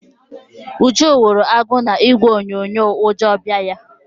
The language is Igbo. Uju hụrụ agụ na ìgwè onyonyo ụjọ bịa ya.